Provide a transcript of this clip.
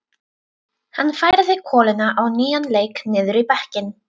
Hann færði koluna á nýjan leik niður í bekkinn.